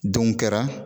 Don kɛra